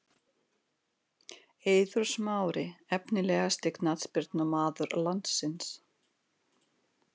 Eiður smári Efnilegasti knattspyrnumaður landsins?